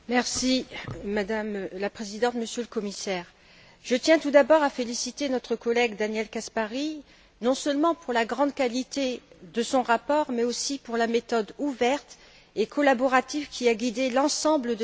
Madame la Présidente, Monsieur le Commissaire, je tiens tout d'abord à féliciter notre collègue, Daniel Caspary, non seulement pour la grande qualité de son rapport, mais aussi pour la méthode ouverte et collaborative qui a guidé l'ensemble de ses travaux.